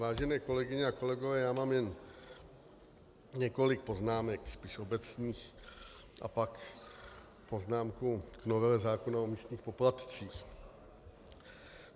Vážené kolegyně a kolegové, já mám jen několik poznámek spíš obecných a pak poznámku k novele zákona o místních poplatcích.